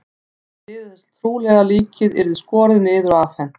Þær biðu þess trúlega að líkið yrði skorið niður og afhent.